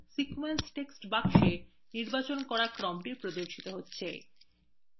sequence text box নির্বাচন করার ক্রমটি প্রদর্শিত হয়